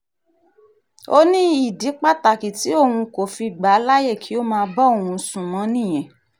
ó ní ìdí pàtàkì tí òun kò fi gbà á láàyè kí ó máa bá òun sùn mọ́ nìyẹn